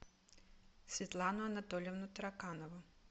светлану анатольевну тараканову